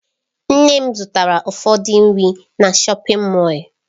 Nne m zụtara ụfọdụ nri na shọpin Mọll.